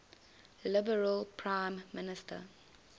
liberal prime minister